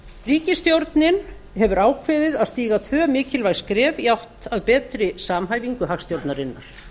ríkisstjórnin hefur ákveðið að stíga tvö mikilvæg skref í átt að betri samhæfingu hagstjórnarinnar